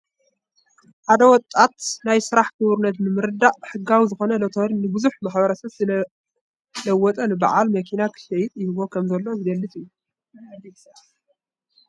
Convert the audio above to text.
ሓደ ወጣት ናይ ስራሕ ክቡርነት ብምርዳእ ሕጋዊ ዝኾነ ሎቶሪ ንብዙሕ ማሕበረሰብ ዝለወጠ ንበዓል መኪና ክሽይጥ ይህቦ ከም ዘሎ ዝገልፅ እዩ።